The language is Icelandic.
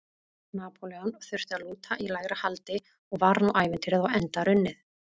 Napóleon þurfti að lúta í lægra haldi og var nú ævintýrið á enda runnið.